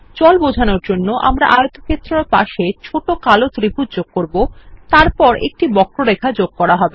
জল বোঝানোর জন্য আমরা আয়তক্ষেত্রের পাশে ছোট কালো ত্রিভুজ যোগ করবো তারপর একটি বক্ররেখা যোগ করা হবে